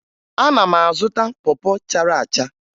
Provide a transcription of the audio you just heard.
Ana m azụta pọ pọ chara acha